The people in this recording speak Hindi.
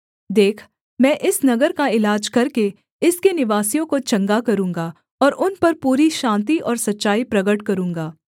देख मैं इस नगर का इलाज करके इसके निवासियों को चंगा करूँगा और उन पर पूरी शान्ति और सच्चाई प्रगट करूँगा